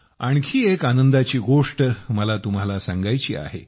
आणखी एक आनंदाची गोष्ट मला तुम्हाला सांगायची आहे